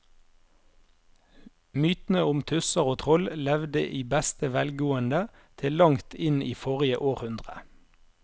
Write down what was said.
Mytene om tusser og troll levde i beste velgående til langt inn i forrige århundre.